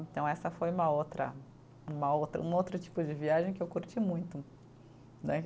Então essa foi uma outra, uma outra, um outro tipo de viagem que eu curti muito, né.